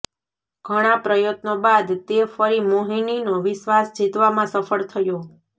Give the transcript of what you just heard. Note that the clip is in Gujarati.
ઘણાં પ્રયત્નો બાદ તે ફરી મોહિનીનો વિશ્વાસ જીતવામાં સફળ થયો